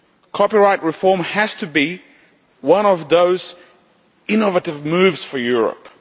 Copyright reform has to be one of those innovative moves for Europe.